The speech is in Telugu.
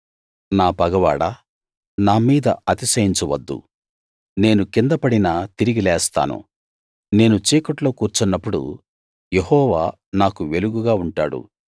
నా పగవాడా నా మీద అతిశయించవద్దు నేను కింద పడినా తిరిగి లేస్తాను నేను చీకట్లో కూర్చున్నపుడు యెహోవా నాకు వెలుగుగా ఉంటాడు